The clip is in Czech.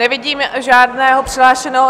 Nevidím žádného přihlášeného.